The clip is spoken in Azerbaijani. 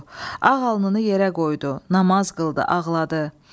Ağ alnını yerə qoydu, namaz qıldı, ağladı.